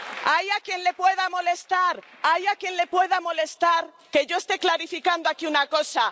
Hay gente a quien le pueda molestar que yo esté clarificando aquí una cosa.